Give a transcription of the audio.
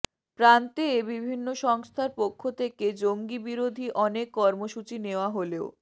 প্রান্তে বিভিন্ন সংস্থার পক্ষ থেকে জঙ্গিবিরোধী অনেক কর্মসূচি নেওয়া হলেও